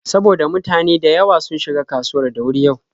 Saboda mutane da yawa sun shiga kasuwar da wuri yau.